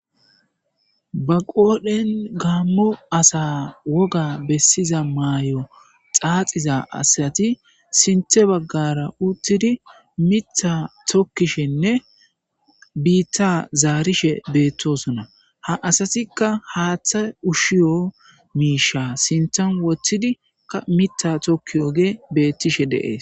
ba qoodhen gaammo asa woga bessiza maayo xaaxiza asati sinthe baggara uttidi mitha tokkishenne biitta zaarishe beettosona ha asatikka haaththa ushshiyo miisha sintan wottidika mita tokki oge beettishe deees